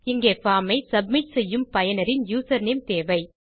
இங்கே பார்ம் ஐ சப்மிட் செய்யும் பயனரின் யூசர்நேம் தேவை